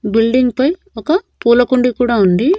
Building పై ఒక పూలకుండీ కూడా ఉంది.